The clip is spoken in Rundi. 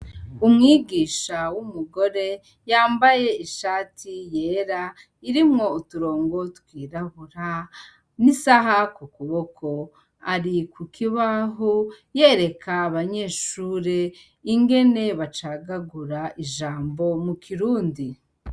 Umwigisha umugore yambaye ishati yera irimwo uturongo twirabura nisaha kukuboko ari kukibaho yeraka abanyeshure ingene bacagagura ijambo mukirundi.